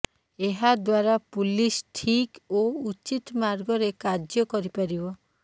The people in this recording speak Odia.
ଏହାଦ୍ୱାରା ପୁଲିସ୍ ଠିକ୍ ଓ ଉଚିତ ମାର୍ଗରେ କାର୍ଯ୍ୟ କରିପାରିବ